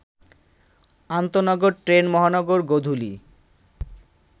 আন্তনগর train Mohanagar Godhuli